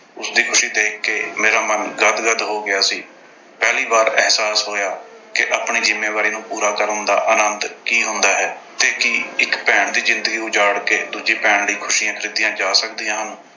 ਉਸਦੀ ਖੁਸ਼ੀ ਦੇਖ ਕੇ ਮੇਰਾ ਮਨ ਗਦ-ਗਦ ਹੋ ਗਿਆ ਸੀ। ਪਹਿਲੀ ਵਾਰ ਅਹਿਸਾਸ ਹੋਇਆ ਕਿ ਆਪਣੀ ਜ਼ਿੰਮੇਵਾਰੀ ਨੂੰ ਪੂਰਾ ਕਰਨ ਦਾ ਆਨੰਦ ਕੀ ਹੁੰਦਾ ਹੈ ਤੇ ਕੀ ਇੱਕ ਭੈਣ ਦੀ ਜ਼ਿੰਦਗੀ ਉਜਾੜ ਕੇ ਦੂਜੀ ਭੈਣ ਦੀਆਂ ਖੁਸ਼ੀਆਂ ਖਰੀਦੀਆਂ ਜਾ ਸਕਦੀਆਂ ਹਨ।